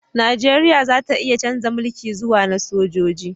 Najeriya za ta iya chanza mulki zuwa na sojoji